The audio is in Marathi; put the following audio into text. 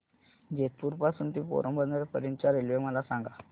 जेतपुर पासून ते पोरबंदर पर्यंत च्या रेल्वे मला सांगा